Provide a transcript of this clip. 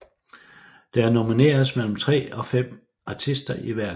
Der nomineres mellem tre og fem artister i hver klasse